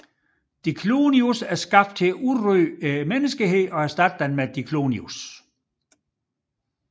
Diclonius er skabt til at udrydde menneskeheden og erstatte den med Diclonius